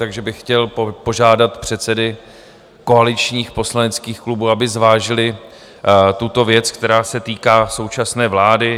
Takže bych chtěl požádat předsedy koaličních poslaneckých klubů, aby zvážili tuto věc, která se týká současné vlády.